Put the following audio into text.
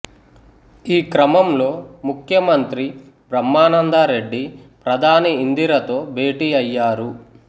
ఈ క్రమంలో ముఖ్యమంత్రి బ్రహ్మానందరెడ్డి ప్రధాని ఇందిరతో భేటీ అయ్యారు